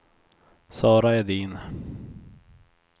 Sara Edin